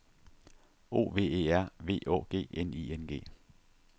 O V E R V Å G N I N G